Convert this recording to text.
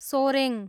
Soreng